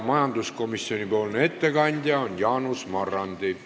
Majanduskomisjoni ettekandja on Jaanus Marrandi.